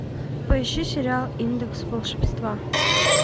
поищи сериал индекс волшебства